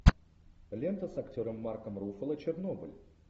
лента с актером марком руффало чернобыль